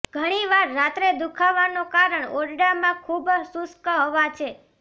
ઘણી વાર રાત્રે દુઃખાવાનો કારણ ઓરડામાં ખૂબ શુષ્ક હવા છે